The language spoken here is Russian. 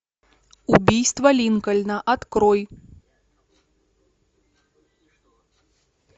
убийство линкольна открой